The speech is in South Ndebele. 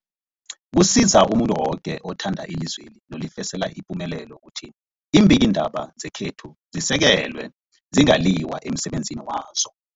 Kusiza umuntu woke othanda ilizweli nolifisela ipumelelo ukuthi iimbikiindaba zekhethu zisekelwe, zingaliywa emsebenzini wazo.